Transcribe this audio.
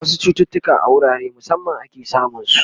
wasu chututuka a wurare musamman ake samun su